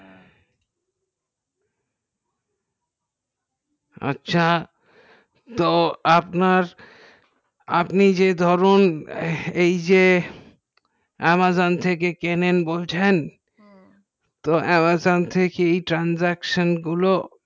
আচ্ছা আপনি যে ধরুন এই যে amazon থেকে কেনেন বলছেন তো amazon থেকে এই transaction গুলো